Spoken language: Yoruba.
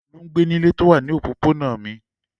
Olú ń gbé nílé tó wà ní òpópónà mi.